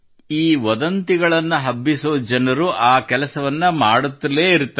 ಈ ವದಂತಿಗಳನ್ನು ಹಬ್ಬಿಸುವ ಜನರು ಆ ಕೆಲಸವನ್ನು ಮಾಡುತ್ತಲೇ ಇರುತ್ತಾರೆ